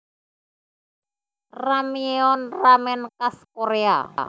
Ramyeon ramen khas Korea